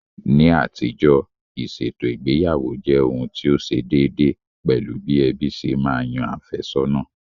Ní àtijọ́, ìṣètò ìgbéyàwó jẹ́ ohun tí ó ṣe déédéé, pẹ̀lú bí ẹbí ṣe ma yan àfẹ́sọ̀nà